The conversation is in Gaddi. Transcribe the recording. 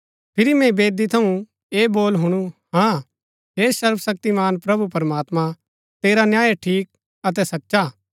फिरी मैंई वेदी थऊँ ऐह बोल हुणु हाँ हे सर्वशक्तिमान प्रभु प्रमात्मां तेरा न्याय ठीक अतै सचा हा